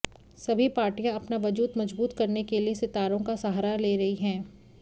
सभी पार्टियां अपना वजूद मजबूत करने के लिए सितारों का सहारा ले रही हैं